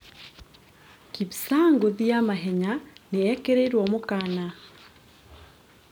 Kipsang ngũthi ya mahenya nĩarekĩrĩirwo mũkana